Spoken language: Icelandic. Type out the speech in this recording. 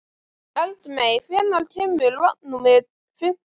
Eldmey, hvenær kemur vagn númer fimmtán?